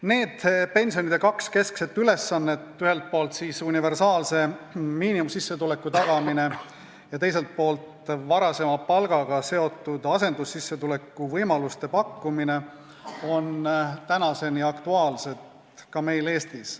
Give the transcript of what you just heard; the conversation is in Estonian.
Need kaks pensioni keskset ülesannet, ühelt poolt universaalse miinimumsissetuleku tagamine ja teiselt poolt varasema palgaga seotud asendussissetuleku võimaluste pakkumine, on tänaseni aktuaalsed ka meil Eestis.